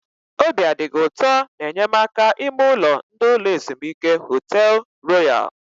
Obi a dị gị ụtọ na enyemaka ime ụlọ ndị ụlọ ezumike Họtel Royal?